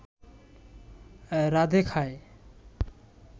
রাঁধে খায়